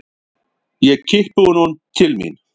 Ég kippi honum til mín.